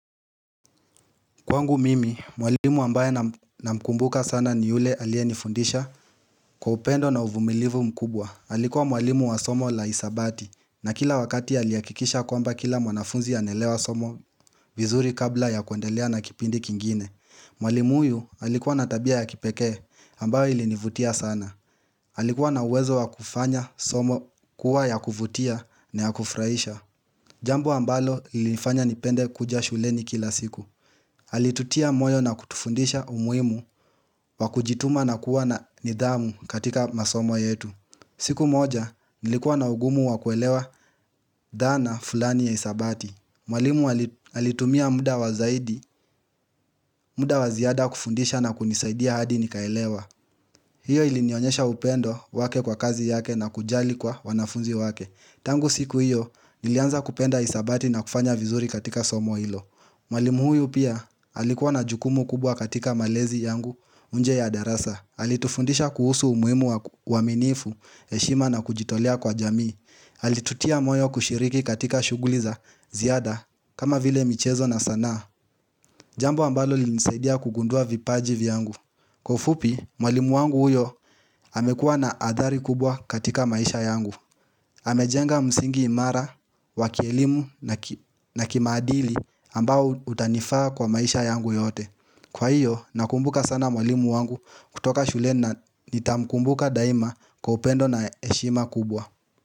Kwangu mimi, mwalimu ambaye namkumbuka sana ni yule alienifundisha kwa upendo na uvumilivu mkubwa. Alikuwa mwalimu wa somo la hesabati na kila wakati aliyahakikisha kwamba kila mwanafunzi aneelewa somo vizuri kabla ya kuendelea na kipindi kingine. Mwalimu huyu alikuwa na tabia ya kipekee ambayo ilinivutia sana. Alikuwa na uwezo wa kufanya somo kuwa ya kuvutia na ya kufurahisha. Jambo ambalo lilifanya nipende kuja shuleni kila siku. Alitutia moyo na kutufundisha umuhimu wa kujituma na kuwa na nidhamu katika masomo yetu siku moja nilikuwa na ugumu wa kuelewa dhana fulani ya hesabati Mwalimu alitumia muda wa zaidi, muda wa ziada kufundisha na kunisaidia hadi nikaelewa hiyo ilinionyesha upendo wake kwa kazi yake na kujali kwa wanafunzi wake tangu siku hiyo nilianza kupenda hesabati na kufanya vizuri katika somo hilo Mwalimu huyu pia alikuwa na jukumu kubwa katika malezi yangu nje ya darasa. Alitufundisha kuhusu umuhimu wa uaminifu, heshima na kujitolea kwa jamii. Alitutia moyo kushiriki katika shuguli za ziada, kama vile michezo na sanaa. Jambo ambalo lilinisaidia kugundua vipaji vyangu. Kwa ufupi, mwalimu wangu huyo amekua na adhari kubwa katika maisha yangu. Amejenga msingi imara, wa kielimu na kimaadili ambao utanifaa kwa maisha yangu yote Kwa hiyo nakumbuka sana mwalimu wangu kutoka shuleni na nitamkumbuka daima kwa upendo na heshima kubwa.